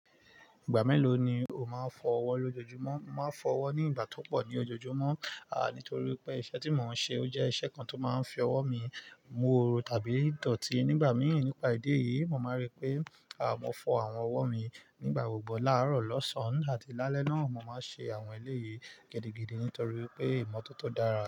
Ìgbà mélòó ni o máa ń fọ ọwọ́ lójoojúmọ́? Mo máa ń fọ ọwọ́ ní ìgbà tó pọ̀ ní ojoojúmọ́, ah nítorí pé iṣẹ́ tí mò ń ṣe ó jẹ́ iṣẹ́ kan tó máa ń fi ọwọ́ mi, mu oru tàbí dọ̀tí. Nígbà mii, nípa ìdí èyí, mo máa rí pé ah mo fọ àwọn ọwọ́ mi nígbà gbogbo láàárọ̀, lọ́sàn-án àti lálẹ́ náà. Mo máa ń ṣe àwọn eléyìí gidigidi nítorí pé ìmọ́tótó dára.